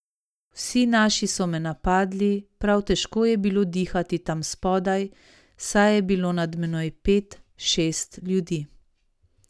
Vsi naši so me napadli, prav težko je bilo dihati tam spodaj, saj je bilo nad menoj pet, šest ljudi.